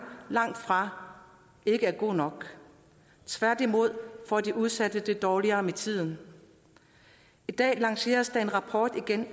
langtfra er god nok tværtimod får de udsatte det dårligere med tiden i dag lanceres der igen en rapport